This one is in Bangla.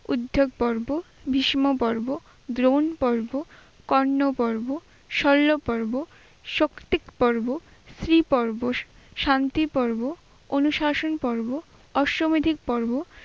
উদ্ধ পর্ব, বিস্ম পর্ব, গ্লোন পর্ব, কর্ণ পর্ব, শৈল পর্ব, শক্তিক পর্ব, স্ত্রী পর্ব, শা- শান্তি পর্ব, অনুশাসন পর্ব, অশ্বমেধিক পর্ব,